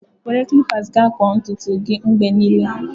Were clippers ga akpụ ntutu gị mgbe niile